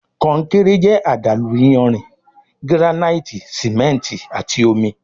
Konkéré jẹ àdàlú iyanrìn, giranaiti simẹnti àti omí